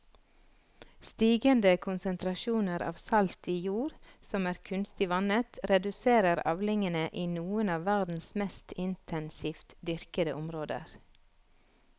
Stigende konsentrasjoner av salt i jord som er kunstig vannet reduserer avlingene i noen av verdens mest intensivt dyrkede områder.